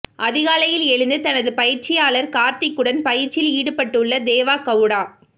அதிகாலையில் எழுந்து தனது பயிற்சியாளர் கார்த்திக் உடன் பயிற்சியில் ஈடுபட்டுள்ள தேவ கவுடா